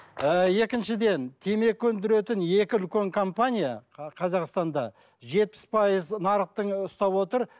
ыыы екіншіден темекі өндіретін екі үлкен компания қазақстанда жетпіс пайыз нарықтың ұстап отыр